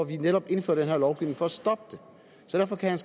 vi netop indfører den her lovgivning for at stoppe derfor kan